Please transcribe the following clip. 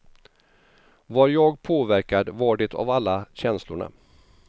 Var jag påverkad var det av alla känslorna.